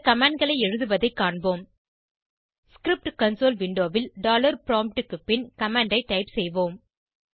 இந்த commandகளை எழுதுவதை காண்போம் ஸ்கிரிப்ட் கன்சோல் விண்டோவில் ப்ராம்ப்ட் க்கு பின் கமாண்ட் ஐ டைப் செய்வோம்